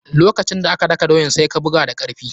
Lokacin da ake daka doyan, sai ka buga da karfi.